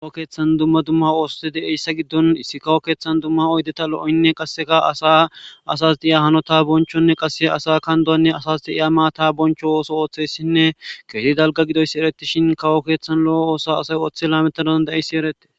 Kawo keeththan dumma dumma oohoti de'eyssa giddon issi kawo keeththan dumma oddeta lo'oynne qasseka asa asas de'iya hanota bonchonne qasse asa kandowanne asas deiya maata boncho ooso ooththeyssinne keeti dalga gidoyssi ereti shin kawo keeththan lo'o oosa asay ooththe lametaaada'eyssi erete